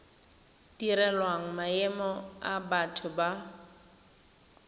direlwang maemo a batho ba